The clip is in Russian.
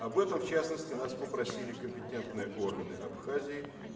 об этом в частности нас попросили компетентные органы абхазии